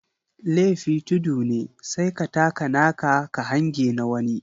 Lefi tudu ne sai ka taka naka ka hange na wani.